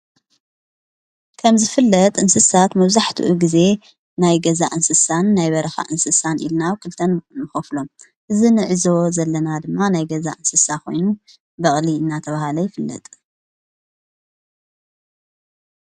ከምዝፍለጥ እንስሳት መዛሕትኡ ጊዜ ናይ ገዛ እንስሳን ናይ በረኻ እንስሳን ኢልናው ክልተን ንኸፍሎም እዝ ንዒዞ ዘለና ድማ ናይ ገዛ እንስሳ ኾይኑ በቕሊ እና ተብሃለ ይፍለጥ።